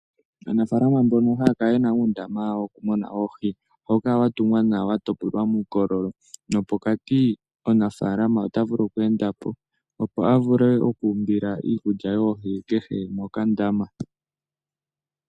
Aanafaalama mbono haa kala yena uundama wawo muna oohi, ohawu kala wa tungwa nawa ,wa topolwa muukololo nopokati omunafaalama ota vulu oku enda po, opo avule oku umbila iikulya yoohi ,kehe mokandama.